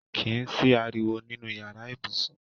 Kìí sí ariwo nínú yàrá ibùsùn